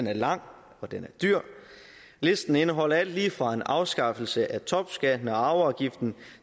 er lang og den er dyr listen indeholder alt lige fra en afskaffelse af topskatten og arveafgiften